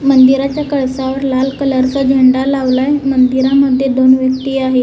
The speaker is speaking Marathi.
मंदिराच्या कळसावर लाल कलर चा झेंडा लावलाय मंदिरामध्ये दोन व्यक्ती आहे.